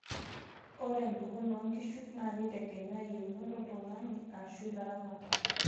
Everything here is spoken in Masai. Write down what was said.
Ore mpekun oonkishu neitegeme yiounot oltung'ani ashu ilaramatak.